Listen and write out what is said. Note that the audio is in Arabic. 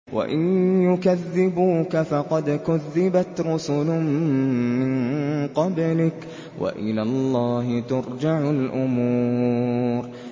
وَإِن يُكَذِّبُوكَ فَقَدْ كُذِّبَتْ رُسُلٌ مِّن قَبْلِكَ ۚ وَإِلَى اللَّهِ تُرْجَعُ الْأُمُورُ